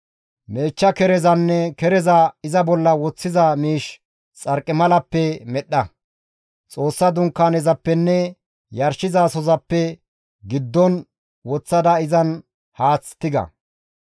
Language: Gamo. «Meechcha kerezanne kereza iza bolla woththiza miish xarqimalappe medhdha. Xoossa Dunkaanezappenne yarshizasozappe giddon woththada izan haath tiga.